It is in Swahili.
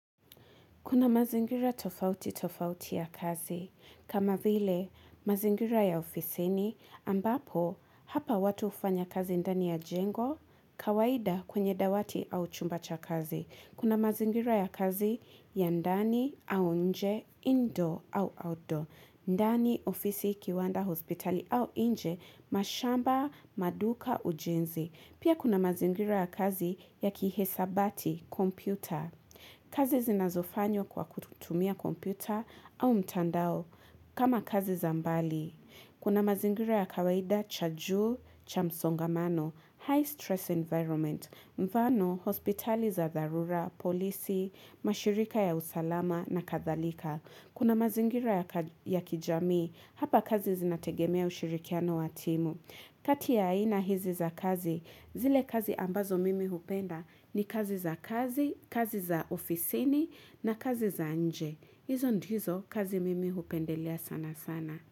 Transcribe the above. Kuna mazingira tofauti tofauti ya kazi, kama vile mazingira ya ofisi ni ambapo hapa watu ufanya kazi ndani ya jengo, kawaida kwenye dawati au chumba cha kazi. Kuna mazingira ya kazi ya ndani au nje, indoor au outdoor, ndani ofisi kiwanda hospitali au nje, mashamba, maduka, ujenzi. Pia kuna mazingira ya kazi ya kihisabati, kompyuta. Kazi zinazofanyo kwa kutumia kompyuta au mtandao kama kazi za mbali. Kuna mazingira ya kawaida cha juu, cha msongamano, high stress environment, mvano, hospitali za dharura, polisi, mashirika ya usalama na kathalika. Kuna mazingira ya kijamii, hapa kazi zinategemea ushirikiano watimu. Kati ya ina hizi za kazi, zile kazi ambazo mimi hupenda ni kazi za kazi, kazi za ofisini na kazi za nje. Hizo ndizo kazi mimi hupendelia sana sana.